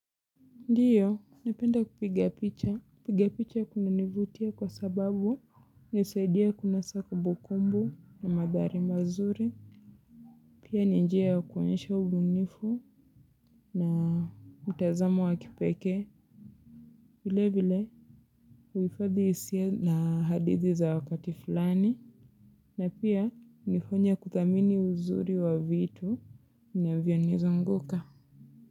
Ndiyo, napenda kupiga picha. Kupiga picha kunanivutia kwa sababu inanisaidia kunasa kumbukumbu na madhari mazuri. Pia ni njia ya kuonyesha ubunifu na utazamo wa kipekee. Vile vile uhifadhi hisia na hadithi za kuti fulani. Na pia, hunifanya kuthamini uzuri wa vitu na vinazo anguka.